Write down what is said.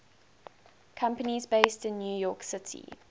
companies based in new york city